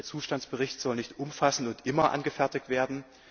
der Zustandsbericht soll nicht umfassend und immer angefertigt werden.